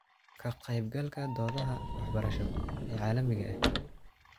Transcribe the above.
Ka-qaybgalka doodaha waxbarasho ee caalamiga ah waxay faa'iido u leedahay aragtida maxalliga ah.